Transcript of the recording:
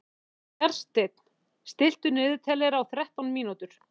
Bjarnsteinn, stilltu niðurteljara á þrettán mínútur.